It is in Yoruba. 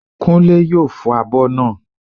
Kúnlé yóò fọ abọ́ naa